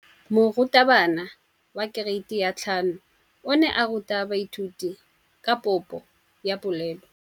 Moratabana wa kereiti ya 5 o ne a ruta baithuti ka popô ya polelô.